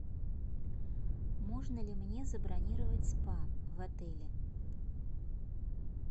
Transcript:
можно ли мне забронировать спа в отеле